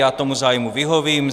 Já tomu zájmu vyhovím.